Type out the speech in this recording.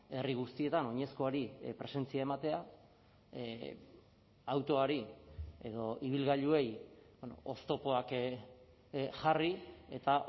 herri guztietan oinezkoari presentzia ematea autoari edo ibilgailuei oztopoak jarri eta